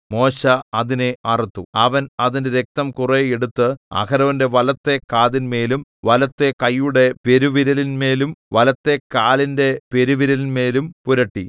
മോശെ അതിനെ അറുത്തു അവൻ അതിന്റെ രക്തം കുറെ എടുത്ത് അഹരോന്റെ വലത്തെ കാതിന്മേലും വലത്തെ കൈയുടെ പെരുവിരലിന്മേലും വലത്തെ കാലിന്റെ പെരുവിരലിന്മേലും പുരട്ടി